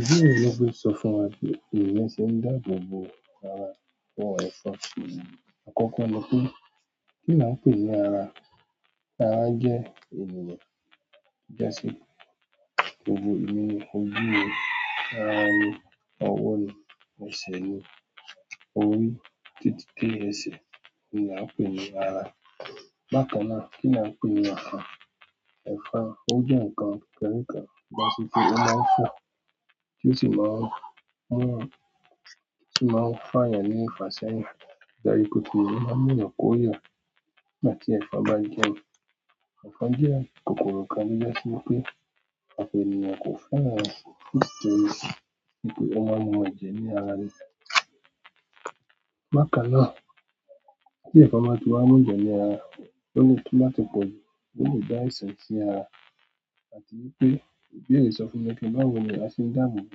Ìdí nìyí tí wọ́n fi sọ fún wa pé èyàn se ń dáàbò bo ara. Àkọ́kọ́ ni pé kí ni a ń pè ní ara? Ara jẹ́ ènìyàn. Í jẹ́ sí. Òwò, ìminú, ojú ni, ara ni, ọwọ́ ni, ẹsẹ̀ ni, orí, títí dé ẹsẹ̀ ni a ń pè ní ara. Bákan náà, kí ni a ń pè ní ọkàn? Ẹ̀fọn. Ó jẹ́ nǹkan kékeré kan tí a sì fi pe o máa ń fò tí ó sì máa ń mú tí ó sì máa ń fààyàn ní ìfàṣẹ́yìn. Ìdálẹ́ olùkúlù máa ń yọ kóya nígbà tí ẹ̀fọn bá jẹ mí. Ẹ̀fọn jẹ́ kòkòrò kan tó jẹ́ sí wípé ọ̀pọ̀ ènìyàn kò fún yàn ẹ́ sí tẹle sí pé ó máa mú ẹ̀jẹ̀ ní ara ni. Bákan náà, tí ẹ̀fọn bá ti wá mú jẹ ní ara, ó lè tóbá tí pọ̀jù pé ó lè dá àìsàn sí ara àti wípé ìdí èyí sọ fún wa pé báwo ni àá ṣe ń dáàbò bo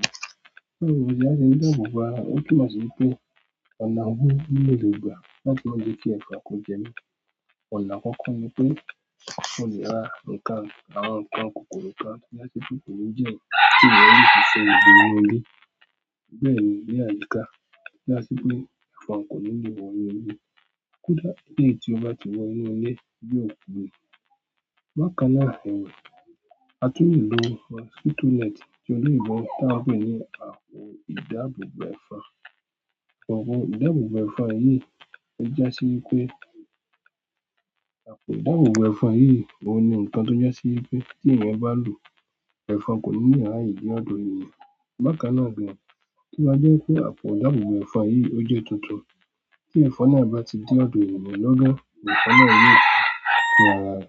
ara. Báwo ni a ṣe ń dáàbò bo ara? Ó túnmọ̀ sí wípé ọ̀nà wo ni mo lè gbà láti máje kí ẹ̀fòn kó jẹ mí. Ọ̀nà àkọ́kọ́ ni pé mo lè ra nǹkan àwọn nǹkan kòkòrò kan tí a sì fi kùnù jẹ́ kí ènìyàn. Bẹ́ẹ̀ni ní àyíká tó já sí wípé ẹ̀fọn kò níle wọ inú ilé. Kódà kí èyí tí ó bá ti wọ inú ilé yóò kú ni. Bákan náà ẹ̀wẹ̀, a tún lè lo mosquito net tí olóyìnbó tá à ń pè ní à ìdáàbòbọ̀ ẹ̀fọn. Òwò ìdáàbòbọ̀ ẹ̀fọn yìí ó á sí wípé àpò ìdáàbòbọ̀ ẹ̀fọn yìí òun ni nǹkan tó jẹ́sí wípé tí èèyàn bá lò ó, ẹ̀fọn kò ní lè ráyè ní ọ̀dọ̀ ènìyàn. Bákan náà gbìn, tó bá jẹ́ pé àpò ìdáàbòbọ̀ ẹ̀fọn yìí ó jẹ́ tuntun. Tí ẹ̀fọn náà bá ti dé ọ̀dọ̀ ènìyàn lọ́gọ́, ẹ̀fọn náà yóò tú ara rẹ̀.